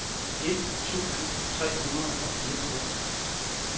et tusind tre hundrede og fireogtres